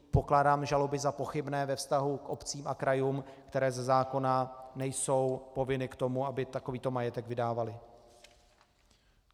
Pokládám žaloby za pochybné ve vztahu k obcím a krajům, které ze zákona nejsou povinny k tomu, aby takovýto majetek vydávaly.